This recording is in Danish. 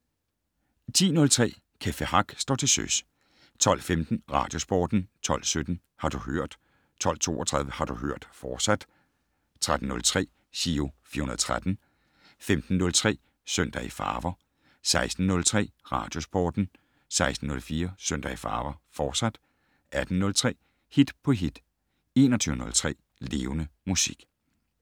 10:03: Café Hack står til søs 12:15: Radiosporten 12:17: Har du hørt 12:32: Har du hørt, fortsat 13:03: Giro 413 15:03: Søndag i farver 16:03: Radiosporten 16:04: Søndag i farver, fortsat 18:03: Hit på hit 21:03: Levende Musik